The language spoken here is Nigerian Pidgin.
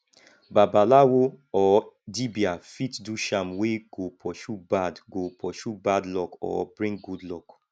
babalawo or dibia fit do charm wey go pursue bad go pursue bad luck or bring good luck